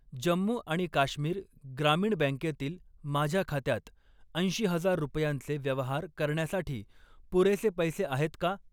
जम्मू आणि काश्मीर ग्रामीण बँकेतील माझ्या खात्यात ऐंशी हजार रुपयांचे व्यवहार करण्यासाठी पुरेसे पैसे आहेत का?